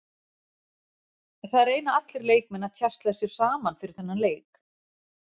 Það reyna allir leikmenn að tjasla sér saman fyrir þennan leik.